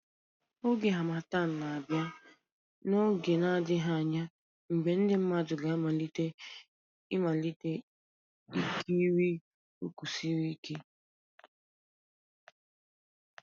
Oge Harmattan ga-abịa n'oge na-adịghị anya mgbe ndị mmadụ ga-amalite ịmalite ikiri ụkwụ siri ike